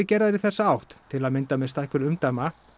gerðar í þessa átt til að mynda með stækkun umdæma